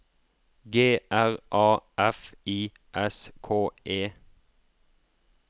G R A F I S K E